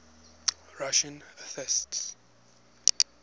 russian atheists